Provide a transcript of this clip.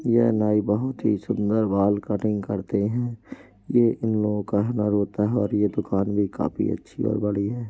यह नाई बहुत ही सुंदर बाल कटिंग करते हैं ये इन लोग का हुनर होता है और यह दुकान भी काफी अच्छी है बड़ी है।